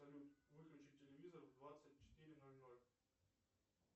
салют выключи телевизор в двадцать четыре ноль ноль